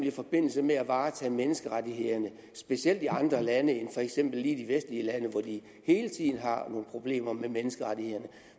i forbindelse med at varetage menneskerettighederne specielt i andre lande end for eksempel lige de vestlige lande hvor de hele tiden har nogle problemer med menneskerettighederne